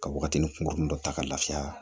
Ka wagatinin kurun dɔ ta ka lafiya